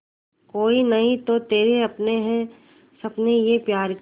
कोई नहीं तो तेरे अपने हैं सपने ये प्यार के